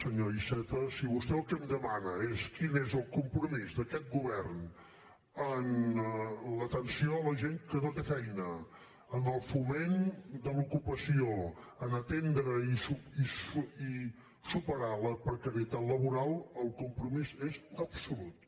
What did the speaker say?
senyor iceta si vostè el que em demana és quin és el compromís d’aquest govern en l’atenció a la gent que no té feina en el foment de l’ocupació a atendre i superar la precarietat laboral el compromís és absolut